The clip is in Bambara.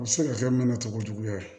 A bɛ se ka kɛ mana cɔgojuguya ye